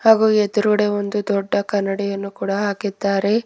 ಹಾಗು ಎದ್ರುಗಡೆ ಒಂದು ದೊಡ್ಡ ಕನ್ನಡಿಯನ್ನು ಕೂಡ ಹಾಕಿದ್ದಾರೆ.